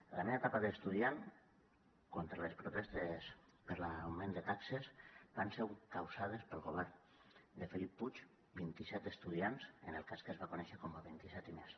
en la meva etapa d’estudiant contra les protestes per l’augment de taxes van ser encausades pel govern de felip puig vint i set estudiants en el cas que es va conèixer com a vint i set i més